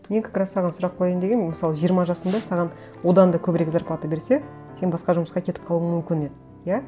мен как раз саған сұрақ қояйын дегенмін мысалы жиырма жасыңда саған одан да көбірек зарплата берсе сен басқа жұмысқа кетіп қалуың мүмкін еді иә